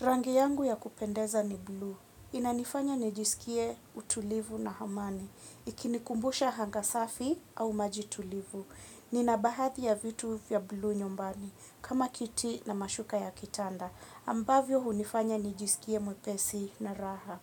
Rangi yangu ya kupendeza ni blue, inanifanya nijisikie utulivu na amani, ikinikumbusha anga safi au maji tulivu. Nina baadhi ya vitu vya blue nyumbani, kama kiti na mashuka ya kitanda, ambavyo hunifanya nijisikie mwepesi na raha.